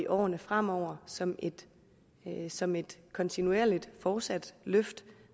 årene fremover som et som et kontinuerligt fortsat løft